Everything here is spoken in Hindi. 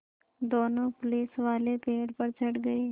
दोनों पुलिसवाले पेड़ पर चढ़ गए